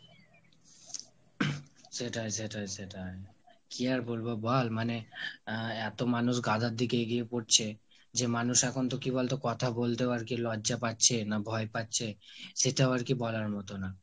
সেটাই সেটাই সেটাই। কী আর বলবো বল মানে আহ এত মানুষ গাধার দিকে এগিয়ে পরছে যে মানুষ এখন তো কী বলতো কথা বলতেও লজ্জা পাচ্ছে না ভয় পাচ্ছে, সেটাও আর কি বলার মতো না।